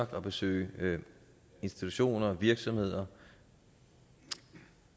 for at besøge institutioner virksomheder og